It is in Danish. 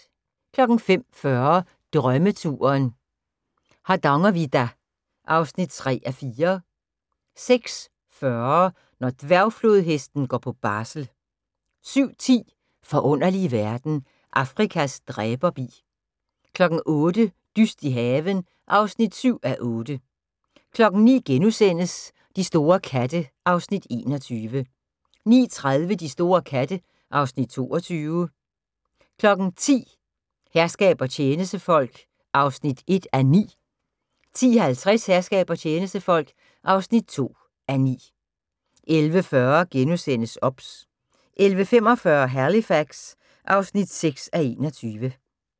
05:40: Drømmeturen - Hardangervidda (3:4) 06:40: Når dværgflodhesten går på barsel 07:10: Forunderlige verden - Afrikas dræberbi 08:00: Dyst i haven (7:8) 09:00: De store katte (Afs. 21)* 09:30: De store katte (Afs. 22) 10:00: Herskab og tjenestefolk (1:9) 10:50: Herskab og tjenestefolk (2:9) 11:40: OBS * 11:45: Halifax (6:21)